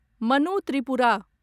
Manu Tripura